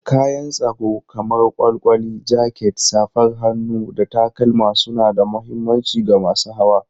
Kayan tsaro kamar kwalkwali, jaket, safar hannu, da takalma suna da mahimmanci ga masu hawa.